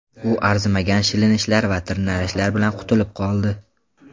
U arzimagan shilinishlar va tirnalishlar bilan qutulib qoldi.